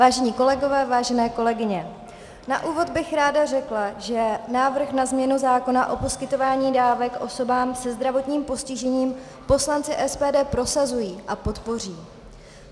Vážení kolegové, vážené kolegyně, na úvod bych ráda řekla, že návrh na změnu zákona o poskytování dávek osobám se zdravotním postižením poslanci SPD prosazují a podpoří.